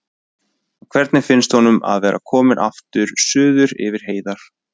En hvernig finnst honum að vera kominn aftur suður yfir heiðar?